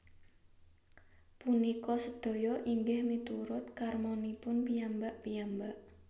Punika sedaya inggih miturut karmanipun piyambak piyambak